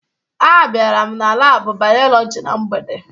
Abịara m na laabụ Bayọlọji na mgbede